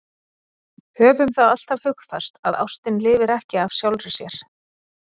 Höfum það alltaf hugfast að ástin lifir ekki af sjálfri sér.